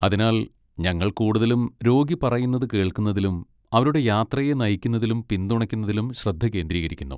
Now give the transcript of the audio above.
അതിനാൽ ഞങ്ങൾ കൂടുതലും രോഗി പറയുന്നത് കേൾക്കുന്നതിലും അവരുടെ യാത്രയെ നയിക്കുന്നതിലും പിന്തുണയ്ക്കുന്നതിലും ശ്രദ്ധ കേന്ദ്രീകരിക്കുന്നു.